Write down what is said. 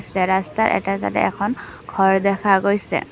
ৰাস্তা এটা তাত এখন ঘৰ দেখা গৈছে।